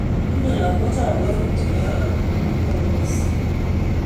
Tinye lakochon borwek chekororon, momiodos.